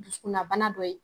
Duskunna bana dɔ ye